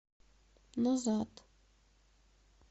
назад